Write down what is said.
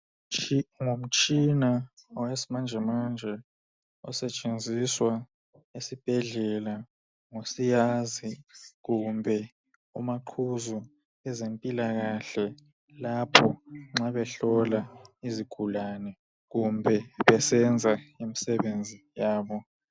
Ngumtshina wesimanjemanje osetshenziswa esibhedlela ngosiyazi kumbe umaqhuzu wezempilakahle lapho nxa behlola izigulane kumbe besenza imisebenzi yabo.